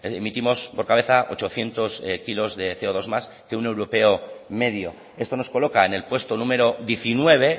emitimos por cabeza ochocientos kilos de ce o dos más que un europeo medio esto nos coloca en el puesto número diecinueve